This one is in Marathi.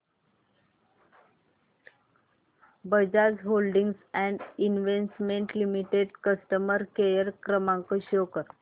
Bajaj holdings and investment limited customer care क्रमांक शो कर